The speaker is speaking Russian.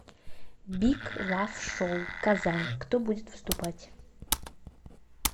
биг лав шоу казань кто будет выступать